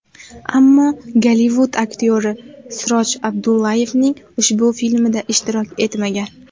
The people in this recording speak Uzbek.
Ammo Gollivud aktyori Siroj Abdullayevning ushbu filmida ishtirok etmagan.